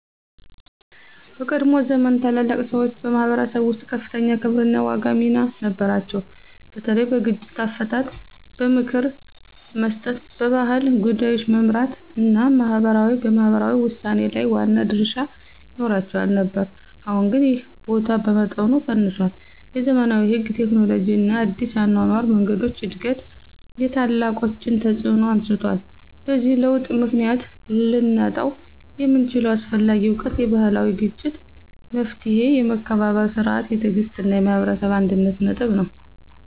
በቀድሞ ዘመን ታላላቅ ሰዎች በማኅበረሰብ ውስጥ ከፍተኛ ክብርና ዋና ሚና ነበራቸው፤ በተለይ በግጭት አፈታት፣ በምክር መስጠት፣ በባህል ጉዳዮች መመራት እና በማህበራዊ ውሳኔ ላይ ዋና ድርሻ ይኖራቸው ነበር። አሁን ግን ይህ ቦታ በመጠኑ ቀንሷል፤ የዘመናዊ ሕግ፣ ቴክኖሎጂ እና አዲስ የአኗኗር መንገዶች እድገት የታላቆችን ተፅዕኖ አነስቷል። በዚህ ለውጥ ምክንያት ልናጣው የምንችለው አስፈላጊ እውቀት የባህላዊ የግጭት መፍትሔ፣ የመከባበር ሥርዓት፣ የትዕግሥት እና የህብረተሰብ አንድነት ጥበብ ነው።